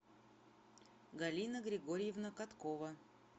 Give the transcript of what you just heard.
галина григорьевна коткова